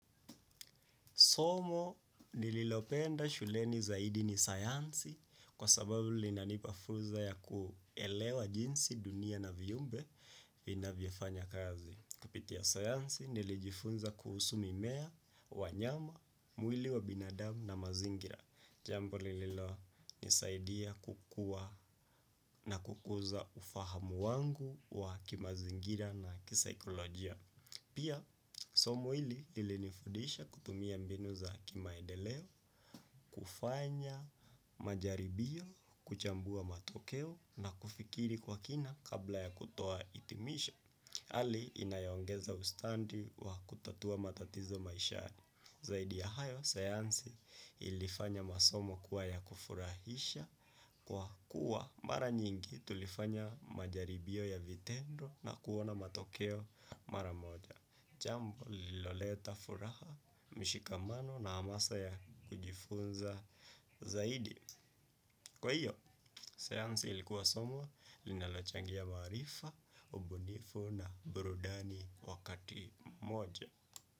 Somo nililopenda shuleni zaidi ni sayansi kwa sababu linanipa funzo ya kuelewa jinsi dunia na viumbe vinayo fanya kazi. Kapitia sayansi nilijifunza kuhusu mimea, wanyama, mwili wa binadamu na mazingira. Jambo lililo nisaidia kukuwa na kukuza ufahamu wangu wa kimazingira na kisaikolojia. Pia, somo hili lilinifudisha kutumia mbinu za kimaendeleo, kufanya majaribio, kuchambua matokeo na kufikiri kwa kina kabla ya kutoa hitimisha. Hali inayo ongeza ustadi wa kutatua matatizo maishani. Zaidi ya hayo, sayansi ilifanya masomo kuwa ya kufurahisha kwa kuwa mara nyingi tulifanya majaribio ya vitendo na kuona matokeo mara moja. Jambo lililoleta furaha mshikamano na hamasa ya kujifunza zaidi. Kwa hiyo, sayansi ilikuwa somo, linalochangia maarifa, ubunifu na burudani wakati moja.